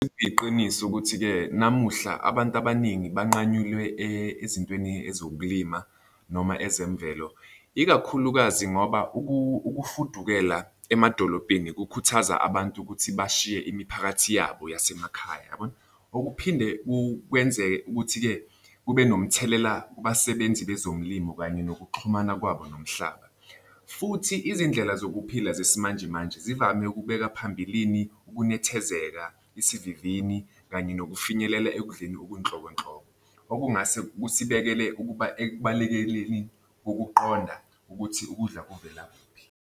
Kuyiqiniso ukuthi-ke namuhla abantu abaningi banqanyulwe ezintweni ezokulima noma ezemvelo ikakhulukazi ngoba ukufudukela emadolobheni kukhuthaza abantu ukuthi bashiye imiphakathi yabo yasemakhaya yabona. Okuphinde kukwenzeke ukuthi-ke kube nomthelela kubasebenzi bezomlimo kanye nokuxhumana kwabo nomhlaba, futhi izindlela zokuphila zesimanjemanje zivame ukubeka phambilini ukunethezeka, isivivini, kanye nokufinyelela ekudleni okunhlobo nhlobo. Okungase kusibeke ukuba ekubalekeleni ukuqonda ukuthi ukudla kuvela kuphi.